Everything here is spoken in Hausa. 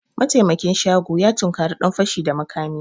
Mataimakin shago ya tunkari dan fashi da makami